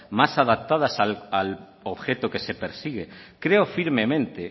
más adaptadas al objeto que se persigue creo firmemente